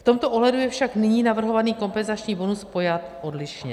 V tomto ohledu je však nyní navrhovaný kompenzační bonus pojat odlišně.